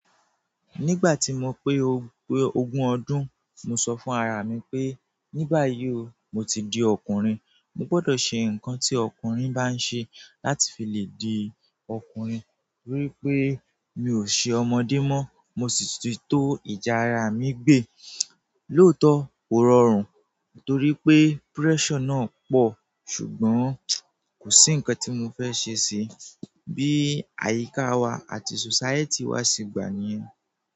Nígbà tí mo pé ogún ọdún, mo sọ fún ara mi pé ní báyìí o, mo ti di ọkùnrin. Mo gbọdọ̀ ṣe nǹkan tí ọkùnrin bá ń ṣe láti fi lè di ọkùnrin wípé mi ò ṣe ọmọdé mọ́. Mo sì ti to ìjá ara mi gbẹ̀. Lóòótọ́ kò rọrùn torí pé pressure náà pọ̀ ṣùgbọ́n kò sí nǹkan tí mo fẹ́ ṣe síí. Bí àyíká wa àti society wa ṣe gbà ni yẹn.